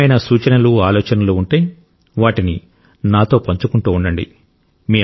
ఏమైనా సూచనలు ఆలోచనలు ఉంటే వాటిని నాతో పంచుకుంటూ ఉండండి